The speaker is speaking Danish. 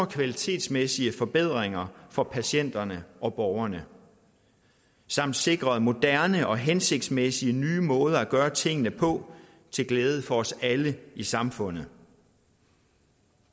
kvalitetsmæssige forbedringer for patienterne og borgerne samt sikret moderne og hensigtsmæssige nye måder at gøre tingene på til glæde for os alle i samfundet